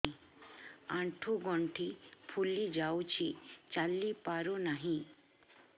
ଆଂଠୁ ଗଂଠି ଫୁଲି ଯାଉଛି ଚାଲି ପାରୁ ନାହିଁ